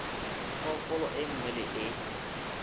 phoofolo e nngwe le e